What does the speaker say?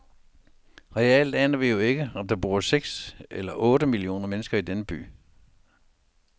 Reelt aner vi jo ikke, om der bor seks eller otte millioner mennesker i denne by.